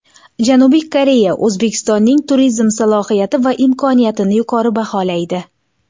Janubiy Koreya O‘zbekistonning turizm salohiyati va imkoniyatini yuqori baholaydi.